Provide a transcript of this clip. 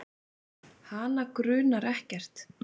Hana grunar ekkert.